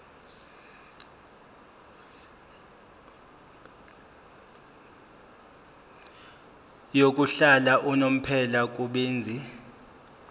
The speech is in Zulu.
yokuhlala unomphela kubenzi